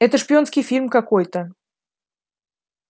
это шпионский фильм какой-то